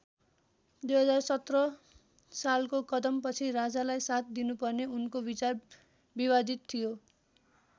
२०१७ सालको कदमपछि राजालाई साथ दिनुपर्ने उनको विचार विवादित थियो।